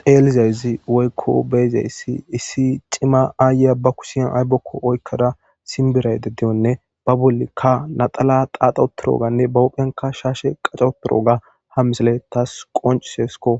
teelizayzi woykko beeza issi issi cima aaya ba kusiyan aybokko oykkada simbirayde diyonne ba bolikka naxala qaaxoturoganne bawophyanka shaashe qacoturo ga ha misale tas qoncisesko